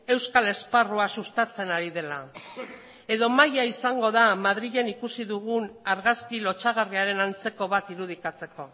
euskal esparrua sustatzen ari dela edo maila izango da madrilen ikusi dugun argazki lotsagarriaren antzeko bat irudikatzeko